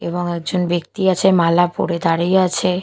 এবং একজন ব্যক্তি আছে মালা পরে দাঁড়িয়ে আছে।